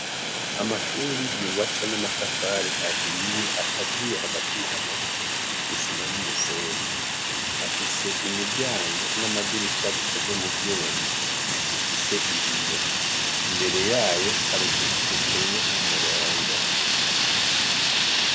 Amashure y ubatse n' amatafar'ahiye akaziye hagati na hagat'isima n umusenyi, afise imiryango n' amadirisha bikoze mu vyuma bifis'ibiyo, imbere yayo har' uduti duteye k 'umurongo.